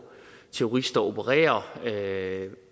terrorister opererer og der er